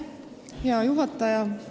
Hea juhataja!